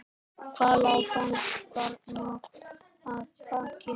Hvað lá þarna að baki?